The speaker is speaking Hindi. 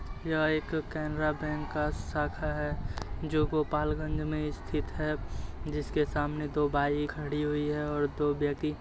यह एक केनरा बैंक का शाखा है जो गोपाल गंज में स्थित है जिसके सामने दो बाई खड़ी हुई है और दो व्यति